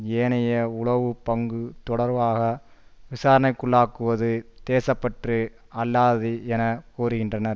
ஏனைய உளவு பங்கு தொடர்பாக விசாரணைக்குள்ளாக்குவது தேச பற்று அல்லாதது என கூறுகின்றனர்